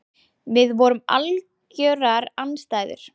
Við vorum algjörar andstæður.